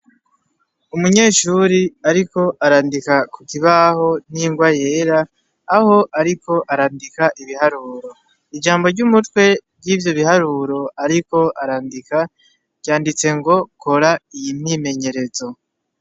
Umunyeshure ariko arandika kukibaho n'ingwa yera, aho ariko arandika ibiharuro ,ijambo ry'umutwe ry'ivyo biharuro ariko arandika ryanditse ngo ;kora iyi myimenyerezo.